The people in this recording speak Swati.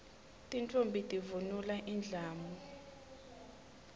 tintfombi tivunula indlamu